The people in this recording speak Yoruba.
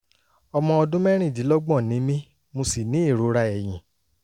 ọmọ ọdún mẹ́rìndínlọ́gbọ̀n ni mí mo sì ní ìrora ẹ̀yìn